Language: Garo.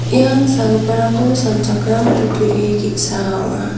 ian sagiparangko sanchakram kutturi ge·sa ong·a.